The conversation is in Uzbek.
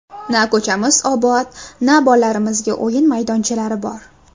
Na ko‘chamiz obod, na bolalarimizga o‘yin maydonchalari bor.